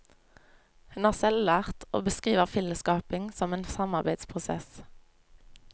Hun er selvlært og beskriver filmskaping som en samarbeidsprosess.